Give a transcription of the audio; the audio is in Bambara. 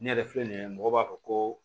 Ne yɛrɛ filɛ nin ye mɔgɔ b'a fɔ ko